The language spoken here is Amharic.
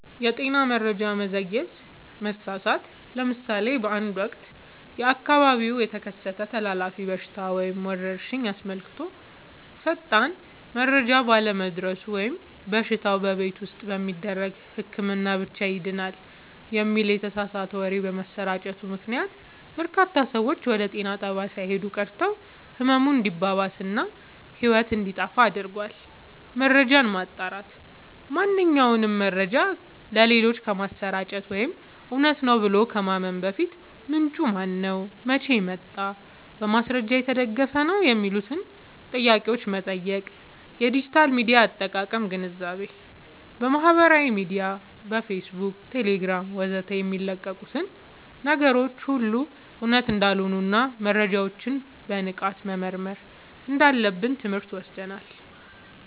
የጤና መረጃ መዘግየት/መሳሳት፦ ለምሳሌ በአንድ ወቅት በአካባቢው የተከሰተን ተላላፊ በሽታ ወይም ወረርሽኝ አስመልክቶ ፈጣን መረጃ ባለመድረሱ ወይም በሽታው "በቤት ውስጥ በሚደረግ ህክምና ብቻ ይድናል" የሚል የተሳሳተ ወሬ በመሰራጨቱ ምክንያት፣ በርካታ ሰዎች ወደ ጤና ጣቢያ ሳይሄዱ ቀርተው ህመሙ እንዲባባስ እና ህይወት እንዲጠፋ አድርጓል። መረጃን ማጣራት፦ ማንኛውንም መረጃ ለሌሎች ከማሰራጨት ወይም እውነት ነው ብሎ ከማመን በፊት፣ "ምንጩ ማነው? መቼ ወጣ? በማስረጃ የተደገፈ ነው?" የሚሉትን ጥያቄዎች መጠየቅ። የዲጂታል ሚዲያ አጠቃቀም ግንዛቤ፦ በማህበራዊ ሚዲያ (ፌስቡክ፣ ቴሌግራም ወዘተ) የሚለቀቁ ነገሮች ሁሉ እውነት እንዳልሆኑና መረጃዎችን በንቃት መመርመር እንዳለብን ትምህርት ወስደናል።